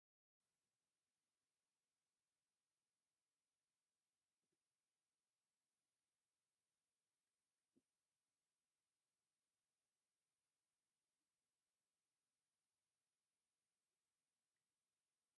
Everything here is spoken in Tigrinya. እዛ ዒፍ እዝኣ እንስሳ ዘገዳም እያ። እዛ እንስሳ ዘገዳም ሕምሕም ትባሃል ። ኣብ ክሳዳ ድማ ማዕተብ እንአዋ። እዛ ሕምሕም እዚኣ ድማ ዝተፈላለዩ ዓይነት እክሊ ትምገብ።